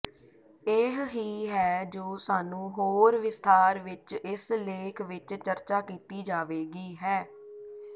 ਇਹ ਹੀ ਹੈ ਜੋ ਸਾਨੂੰ ਹੋਰ ਵਿਸਥਾਰ ਵਿੱਚ ਇਸ ਲੇਖ ਵਿਚ ਚਰਚਾ ਕੀਤੀ ਜਾਵੇਗੀ ਹੈ